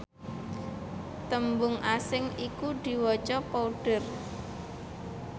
tembung asing iku diwaca powder